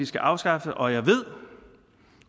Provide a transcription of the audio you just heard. skal afskaffes og jeg ved